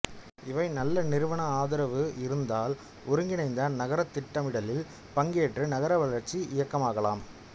இவை நல்ல நிறுவன ஆதரவு இருந்தால் ஒருங்கிணைந்த நக்ரத் திட்டமிடலில் பங்கேற்று நகர வளர்ச்சி இயக்கமாகலாம்